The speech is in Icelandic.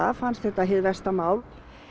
fannst þetta hið versta mál